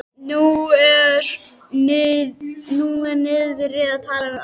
Hún er niðri að tala við ömmu.